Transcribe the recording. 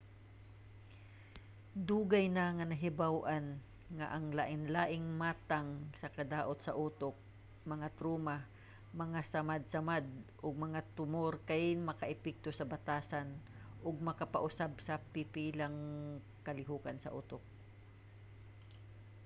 dugay na nga nahibaw-an nga ang lain-laing matang sa kadaot sa utok mga truma mga samadsamad ug mga tumor kay makaapekto sa batasan ug makapausab sa pipilang kalihokan sa utok